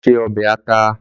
Lò sé òbè àtá